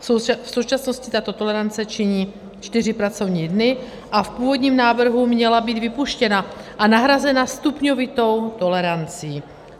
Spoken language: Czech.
V současnosti tato tolerance činí čtyři pracovní dny a v původním návrhu měla být vypuštěna a nahrazena stupňovitou tolerancí.